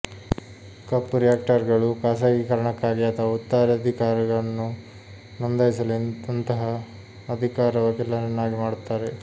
ಕಪ್ಪು ರಿಯಾಕ್ಟರ್ಗಳು ಖಾಸಗೀಕರಣಕ್ಕಾಗಿ ಅಥವಾ ಉತ್ತರಾಧಿಕಾರವನ್ನು ನೋಂದಾಯಿಸಲು ಅಂತಹ ಅಧಿಕಾರ ವಕೀಲರನ್ನಾಗಿ ಮಾಡುತ್ತಾರೆ